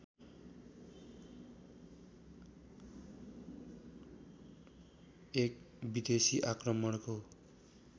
एक विदेशी आक्रमणको